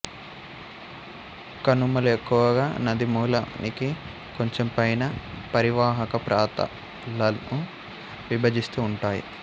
కనుమలు ఎక్కువగా నదీమూలానికి కొంచెం పైన పరీవాహక ప్రాతాలను విభజిస్తూ ఉంటాయి